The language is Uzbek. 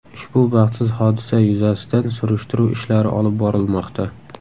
Ushbu baxtsiz hodisa yuzasidan surishtiruv ishlari olib borilmoqda.